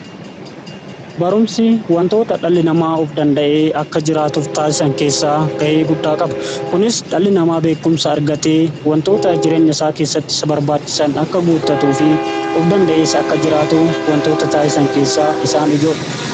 Barumsi wantoota dhalli namaa of danda'ee akka jiraatuf taasisan keessaa ga'ee guddaa qaba. Kunis dhalli namaa beekumsa argatee wantoota jireenya isaa keessatti barbaachisan akka guutatuu fi of danda'ees akka jiraatu wantoota taasisan keessaa isaan ijoodha.